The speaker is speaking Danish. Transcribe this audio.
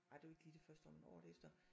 Ej det var ikke lige det første om året efter